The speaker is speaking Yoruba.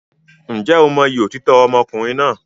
Ǹjẹ́ o mọyì òtítọ́ ọmọkùnrin náà?